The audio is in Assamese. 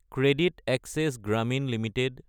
Credit Access Grameen Ltd